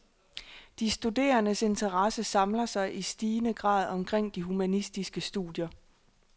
De studerendes interesse samler sig i stigende grad omkring de humanistiske studier.